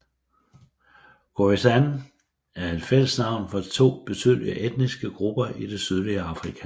Khoisan er et fællesnavn for to betydelige etniske grupper i det sydlige Afrika